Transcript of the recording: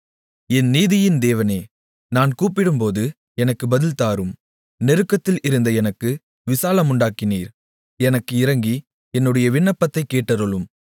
என் நீதியின் தேவனே நான் கூப்பிடும்போது எனக்கு பதில்தாரும் நெருக்கத்தில் இருந்த எனக்கு விசாலமுண்டாக்கினீர் எனக்கு இரங்கி என்னுடைய விண்ணப்பதைக் கேட்டருளும்